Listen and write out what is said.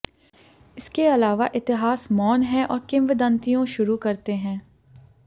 इसके अलावा इतिहास मौन है और किंवदंतियों शुरू करते हैं